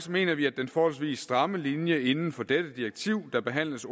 mener vi at den forholdsvis stramme linje inden for dette direktiv der behandles